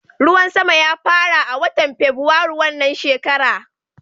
Ruwan sama ya fara a watan Fabwairu wannan shekara.